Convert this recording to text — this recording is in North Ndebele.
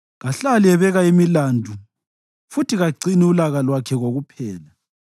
Kahlali ebeka imilandu futhi kagcini ulaka lwakhe kokuphela;